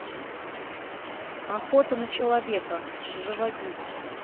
охота на человека заводи